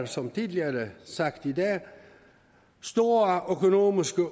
som tidligere sagt i dag store økonomiske